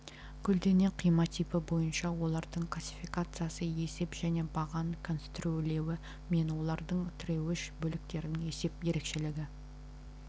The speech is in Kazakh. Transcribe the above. көлденең қима типі бойынша олардың классификациясы есеп және баған конструирлеуі мен олардың тіреуіш бөліктерінің есеп ерекшелігі